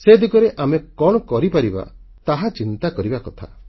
ସେ ଦିଗରେ ଆମେ କଣ କରିପାରିବା ତାହା ଚିନ୍ତା କରିବା କଥା